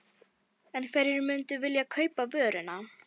En hverjir myndu vilja kaupa vöruna?